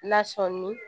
Lasɔmin